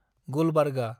Gulbarga